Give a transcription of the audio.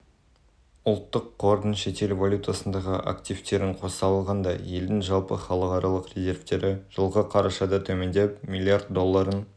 ұлттық қордың шетел валютасындағы активтерін қоса алғанда елдің жалпы халықаралық резервтері жылғы қарашада төмендеп млрд долларын